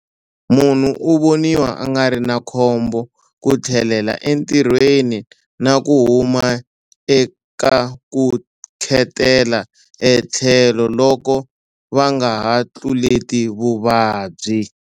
Munhu u voniwa a nga ri na khombo ku tlhelela entirhweni na ku huma eka ku khetela etlhelo loko va nga ha tluleti vuvabyi.